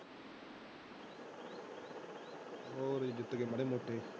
ਹੋਰ ਜੇ ਜਿੱਤ ਗਏ ਮਾੜੇ ਮੋਟੇ।